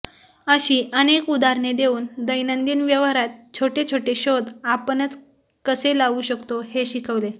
अशी अनेक उदाहरणे देऊन दैनंदिन व्यवहारात छोटे छोटे शोध आपणच कसे लावू शकतो हे शिकवले